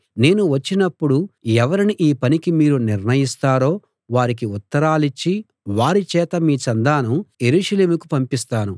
నేను వచ్చినప్పుడు ఎవరిని ఈ పనికి మీరు నిర్ణయిస్తారో వారికి ఉత్తరాలిచ్చి వారిచేత మీ చందాను యెరూషలేముకు పంపిస్తాను